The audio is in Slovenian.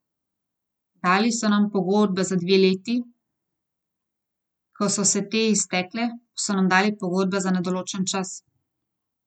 Dali so nam pogodbe za dve leti, ko so se te iztekle, pa smo dobile pogodbe za nedoločen čas.